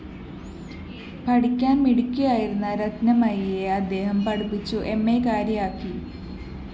പഠിക്കാന്‍ മിടുക്കിയായിരുന്ന രത്‌നമയിയെ അദ്ദേഹം പഠിപ്പിച്ചു എംഎക്കാരിയാക്കി